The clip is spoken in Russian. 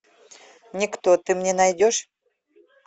никто ты мне найдешь